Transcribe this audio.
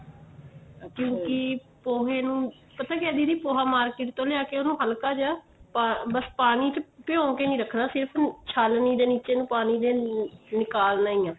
ਕਿਉਂਕਿ ਪੋਹੇ ਨੂੰ ਪਤਾ ਕਿਆ ਦੀਦੀ ਪੋਹਾ market ਤੋਂ ਲਿਆ ਕੇ ਉਨੂੰ ਹਲਕਾ ਜੀਆ ਬੱਸ ਪਾਣੀ ਚ ਭਿਉ ਕੇ ਨਹੀਂ ਰੱਖਣਾ ਛਾਨਣੀ ਦੇ ਨੀਚੇ ਨੂੰ ਪਾਣੀ ਦੇ ਨਿਕਾਲਨਾ ਈ ਏ